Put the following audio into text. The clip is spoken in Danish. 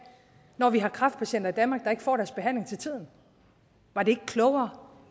når vi har kræftpatienter i danmark der ikke får deres behandling til tiden var det ikke klogere